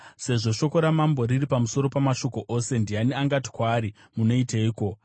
Sezvo shoko ramambo riri pamusoro pamashoko ose, ndiani angati kwaari, “Munoiteiko?”